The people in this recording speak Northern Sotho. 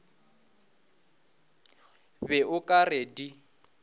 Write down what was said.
be o ka re di